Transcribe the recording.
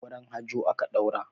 Auren Hajo aka ɗaura.